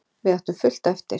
Við áttum fullt eftir.